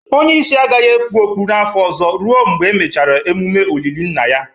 Onye isi agaghị ekpu okpu n'afọ ọzọ ruo mgbe emechara emume olili nna ya